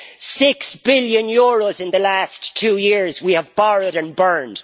EUR 6 billion in the last two years we have borrowed and burned.